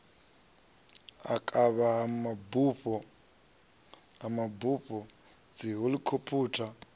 u kavha ha mabupo dzihelikhophutha